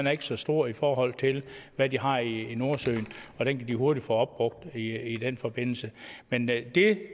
er så stor i forhold til hvad de har i nordsøen og den kan de hurtigt få opbrugt i den forbindelse men det